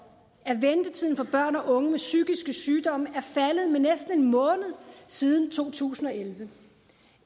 børn og unge med psykiske sygdomme er faldet med næsten en måned siden to tusind og elleve